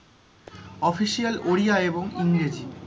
official Odia এবং ইংরেজি,